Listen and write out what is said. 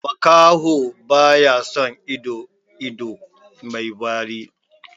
Makaho wai baya son ido, ido mai wari.